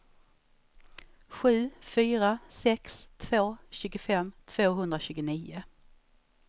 sju fyra sex två tjugofem tvåhundratjugonio